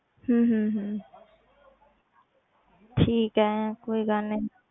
ਹਮ ਹਮ ਹਮ ਠੀਕ ਹੈ ਕੋਈ ਗੱਲ ਨੀ,